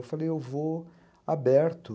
Eu falei, eu vou aberto.